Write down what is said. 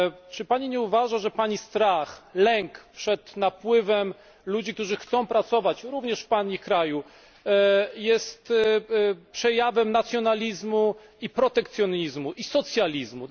Czy Pani nie uważa, że Pani strach, lęk przed napływem ludzi, którzy chcą pracować, również w Pani kraju, jest przejawem nacjonalizmu i protekcjonizmu, i socjalizmu.